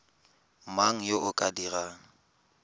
mang yo o ka dirang